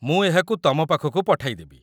ମୁଁ ଏହାକୁ ତମ ପାଖକୁ ପଠାଇଦେବି